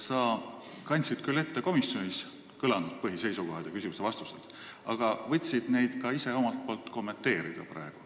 Sa kandsid küll ette komisjonis kõlanud põhiseisukohad ja küsimused-vastused, aga võtsid neid praegu ka omalt poolt kommenteerida.